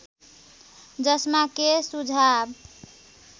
जसमा के सुझाव